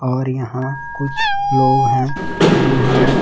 और यहां कुछ लोग हैं जिन्होंने--